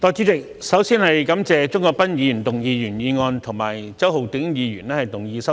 代理主席，首先感謝鍾國斌議員動議原議案，以及周浩鼎議員動議修正案。